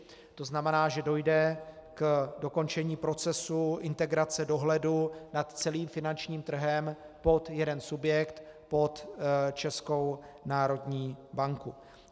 To znamená, že dojde k dokončení procesu integrace dohledu nad celým finančním trhem pod jeden subjekt, pod Českou národní banku.